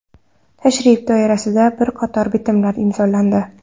Tashrif doirasida bir qator bitimlar imzolandi.